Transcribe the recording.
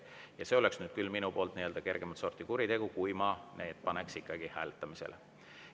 Ja see oleks nüüd küll minu poolt nii-öelda kergemat sorti kuritegu, kui ma need paneksin ikkagi hääletamisele.